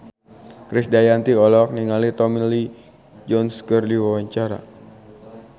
Krisdayanti olohok ningali Tommy Lee Jones keur diwawancara